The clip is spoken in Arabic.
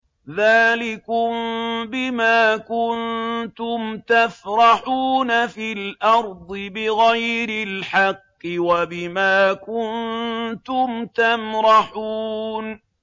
ذَٰلِكُم بِمَا كُنتُمْ تَفْرَحُونَ فِي الْأَرْضِ بِغَيْرِ الْحَقِّ وَبِمَا كُنتُمْ تَمْرَحُونَ